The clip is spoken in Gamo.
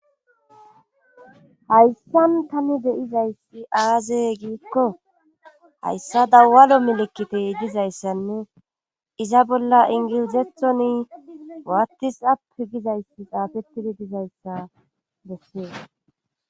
hayssan tani deizayssi aaze giikko hayssa dawalo milikitey dizayssanne iza bolla ingilizethoni waattis ap gizayssi xaafettidi dizayssa bessee